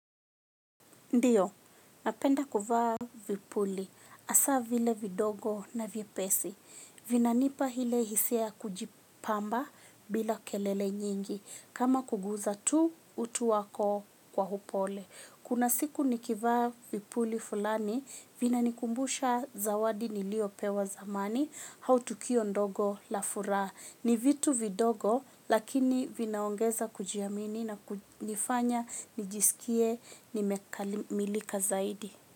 Ndiyo, napenda kuvaa vipuli. Hasa vile vidogo na vyepesi vinanipa ile hisia ya kujipamba bila kelele nyingi. Kama kugusa tu utu wako kwa upole. Kuna siku nikivaa vipuli fulani vinanikumbusha zawadi niliyopewa zamani au tukio ndogo la furaha. Ni vitu vidogo lakini vinaongeza kujiamini na kunifanya nijisikie nimekamilika zaidi.